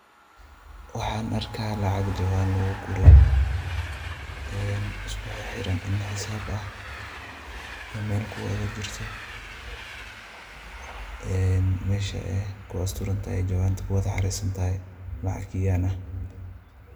Waxaan arka lacag jowaan luguguray uskuxixiran in hisaab ah meel kuwada jirto. Meesha ay ku asturanatahay jowanta ku wad hareysantahay, lacag kenyaan ah.